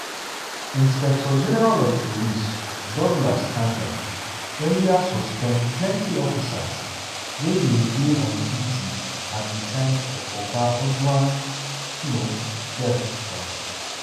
inspector-general of police douglas kanja earlier suspend plenty officers wey bin dey on duty at di time of oga ojwang um death. um